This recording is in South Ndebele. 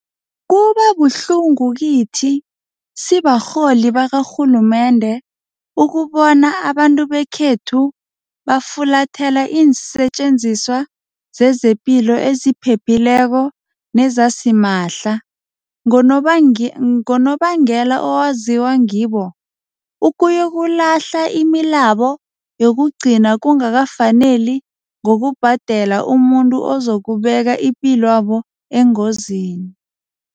Kuba buhlungu kithi sibarholi bakarhulumende ukubona abantu bekhethu bafulathela iinsetjenziswa zezepilo eziphephileko nezasimahla, ngonobangela owaziwa ngibo, ukuyokulahla imalabo yokugcina kungakafaneli ngokubhadela umuntu ozokubeka ipilwabo engozini.